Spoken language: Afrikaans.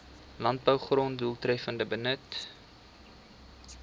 landbougrond doeltreffender benut